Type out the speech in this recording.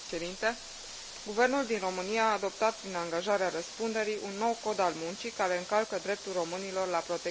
Guvernul din România a adoptat, prin angajarea răspunderii, un nou Cod al muncii care încalcă dreptul românilor la protecție socială.